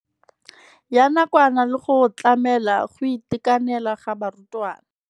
Ya nakwana le go tlamela go itekanela ga barutwana.